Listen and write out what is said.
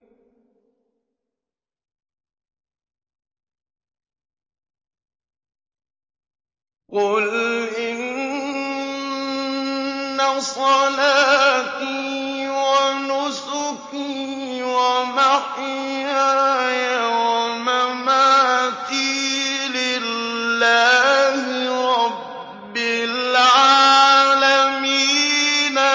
قُلْ إِنَّ صَلَاتِي وَنُسُكِي وَمَحْيَايَ وَمَمَاتِي لِلَّهِ رَبِّ الْعَالَمِينَ